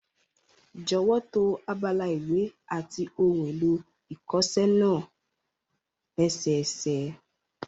Jọ̀wọ́ to abala ìwé àti ohun èlò ìkọṣẹ́ náà lẹ́sẹẹsẹ